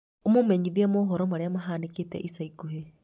ũmũmenyithia mohoro maria mahanika ica ikuhĩ